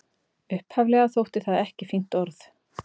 Upphaflega þótti það ekki fínt orð.